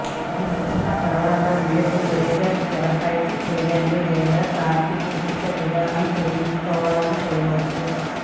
ఈ శిక్షణ తర్వాత మీరు లేజర్ తెరపైకి చేయండి లేదా కాంతిచికిత్స విధానం చేయించుకోవాలని చేయవచ్చు